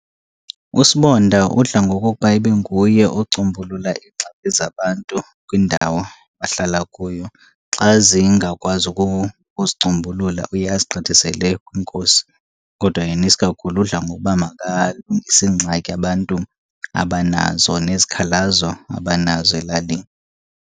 USibonda udla ngokokuba ibe nguye ocombulula iingxaki zabantu kwindawo ahlala kuyo. Xa zingakwazi ukuzicombulula uye azigqithisele kwiNkosi. Kodwa yena isikakhulu udla ngokuba makalungise iingxaki abantu abanazo nezikhalazo abanazo elalini.